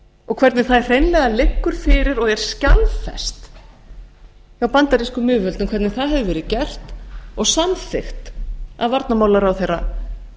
og hvernig það hreinlega liggur fyrir og er skjalfest hjá bandarískum yfirvöldum hvernig það hefur verið gert og samþykkt af varnarmálaráðherra